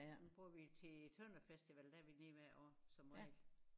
Den bruger vi til Tønderfestival der er vi lige hvert år som regel